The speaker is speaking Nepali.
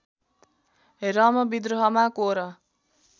रम विद्रोहमा कोर